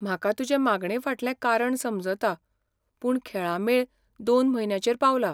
म्हाका तुजे मागणेफाटलें कारण समजता, पूण खेळां मेळ दोन म्हयन्यांचेर पावला.